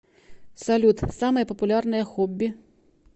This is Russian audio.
салют самые популярные хобби